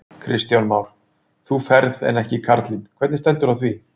Kristján Már: Þú ferð en ekki karlinn, hvernig stendur á því?